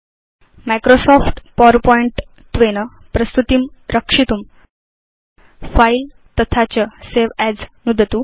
Microsoft PowerPoint त्वेन प्रस्तुतिं रक्षितुं फिले तथा च सवे अस् नुदतु